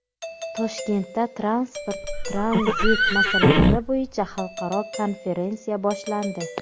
Toshkentda transport-tranzit masalalari bo‘yicha xalqaro konferensiya boshlandi.